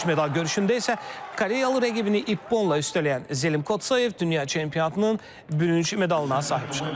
Bürünc medal görüşündə isə Koreyalı rəqibini İpponla üstələyən Zəlim Kotozoyev dünya çempionatının bürünc medalına sahib çıxıb.